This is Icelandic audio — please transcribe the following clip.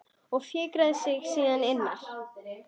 Og fikrar sig síðan innar?